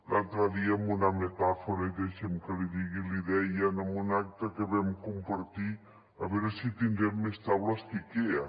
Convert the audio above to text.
l’altre dia amb una metàfora i deixi’m que l’hi digui li deien en un acte que vam compartir a veure si tindrem més taules que ikea